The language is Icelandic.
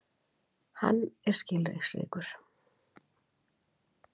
Hann er skilningsríkur.